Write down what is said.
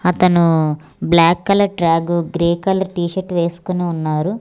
అతను black colour track grey colour t shirt వేసుకుని ఉన్నారు.